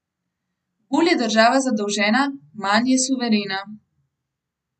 Bolj je država zadolžena, manj je suverena.